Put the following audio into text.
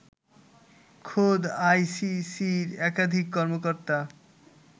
খোদ আইসিসির একাধিক কর্মকর্তা